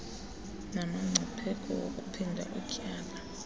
namngcipheko wakuphinda utyale